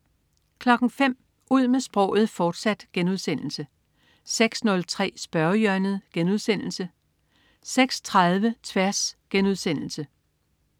05.00 Ud med sproget, fortsat* 06.03 Spørgehjørnet* 06.30 Tværs*